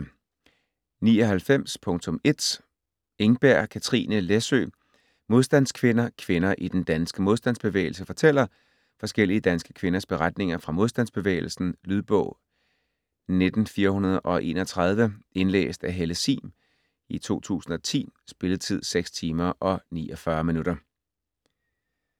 99.1 Engberg, Kathrine Læsøe: Modstandskvinder: kvinder i den danske modstandsbevægelse fortæller Forskellige danske kvinders beretninger fra modstandsbevægelsen. Lydbog 19431 Indlæst af Helle Sihm, 2010. Spilletid: 6 timer, 49 minutter.